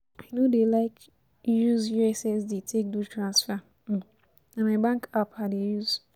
I no dey like use ussd take do transfer, um na my bank app I dey use